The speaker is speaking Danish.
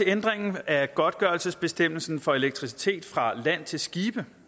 ændringen af godtgørelsesbestemmelsen for elektricitet fra land til skibe